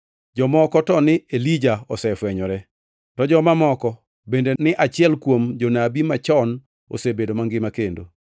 Jomoko to ni Elija osefwenyore, to joma moko bende ni achiel kuom jonabi machon osebedo mangima kendo.